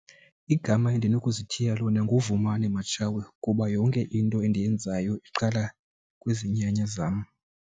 Igama endinokuzithiya lona nguVumani Matshawe kuba yonke into endiyenzayo iqala kwizinyanya zam.